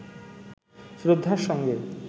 শ্রদ্ধার সঙ্গে